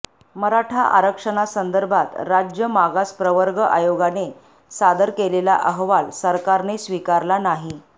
मराठा आरक्षणासंदर्भात राज्य मागास प्रवर्ग आयोगाने सादर केलेला अहवाल सरकारने स्वीकारला नाही